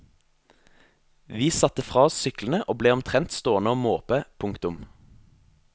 Vi satte fra oss syklene og ble omtrendt stående å måpe. punktum